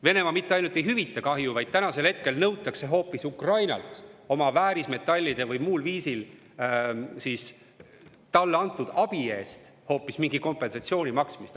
Venemaa mitte ainult ei hüvita kahju, vaid nüüd nõutakse hoopis Ukrainalt oma väärismetallide või muul viisil talle antud abi eest kompensatsiooni maksmist.